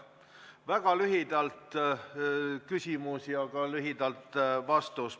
Väga lühidalt küsimus ja ka lühidalt vastus.